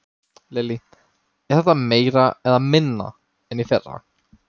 Lillý: Er þetta meira eða minna en í fyrra?